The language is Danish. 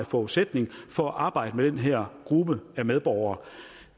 forudsætning for at arbejde med den her gruppe af medborgere